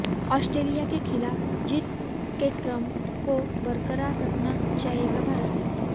Australia के खिलाफ जीत केक्रम को बरकरार रखना चाहेगा भारत